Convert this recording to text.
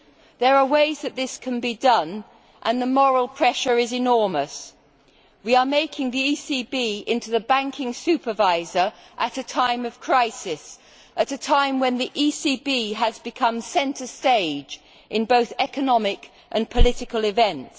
There are ways that this can be done, and the moral pressure is enormous. We are turning the ECB into the banking supervisor at a time of crisis and a time when the ECB itself has moved centre stage in both economic and political events.